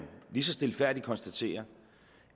lige så stilfærdigt konstatere